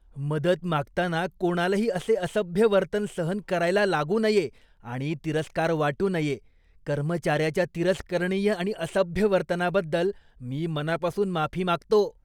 मदत मागताना कोणालाही असे असभ्य वर्तन सहन करायला लागू नये आणि तिरस्कार वाटू नये. कर्मचार्याच्या तिरस्करणीय आणि असभ्य वर्तनाबद्दल मी मनापासून माफी मागतो.